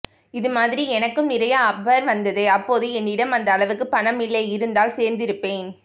இதுமாதிரி எனக்கும் நிறைய ஆபர் வந்தது அப்போது என்னிடம் அந்த அளவுக்கு பணம் இல்லை இருந்தால் சேர்ந்திருப்பேன்